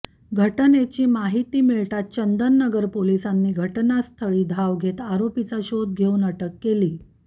घटनेची माहिती मिळताच चंदननगर पोलिसांनी घटनास्थळी धाव घेत आरोपीचा शोध घेऊन अटक केली